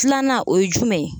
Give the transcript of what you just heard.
Filanan o ye jumɛn ye?